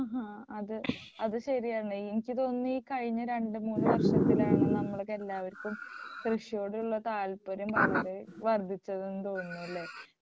ആഹാ അത് അത് ശരിയാണ് എനിക്ക് തോന്നുന്നു ഈ കഴിഞ്ഞ രണ്ടു മൂന്നു വർഷത്തിലാണ് നമുക്കെല്ലാവർക്കും കൃഷിയോടുള്ള താല്പര്യം വളരെ വർദ്ധിച്ചത് എന്ന് തോന്നുന്നു അല്ലേ